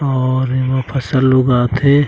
और एमा फसल उगाथे।